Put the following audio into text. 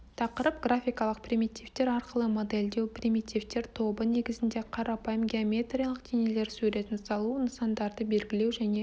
тақырып графикалық примитивтер арқылы модельдеу примитивтер тобы негізінде қарапайым геометриялық денелер суретін салу нысандарды белгілеу және